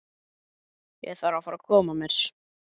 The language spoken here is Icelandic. Ég þarf að fara að koma mér.